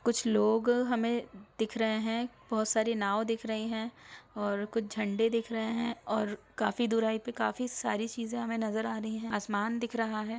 कुछ लोग हमे दिख रहे है बहुत सारी नांव दिख रही है और कुछ झण्डे दिख रहे है और काफी दुराई पे काफी सारी चीजें हमें नज़र आ रही है आसमान दिख रहा है।